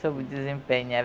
Soube desempenhar.